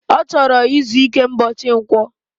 Ochor izu ike mbochi nkwo